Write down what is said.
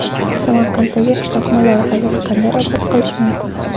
Samarqanddagi qishloqni loyihasiz qanday obod qilish mumkin?.